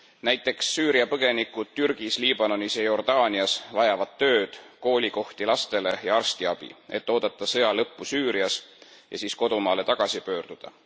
Näiteks Süüria põgenikud Türgis, Liibanonis ja Jordaanias vajavad tööd, koolikohti lastele ja arstiabi, et oodata sõja lõppu Süürias ja siis kodumaale tagasi pöörduda.